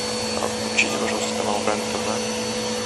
включите пожалуйста канал рен тв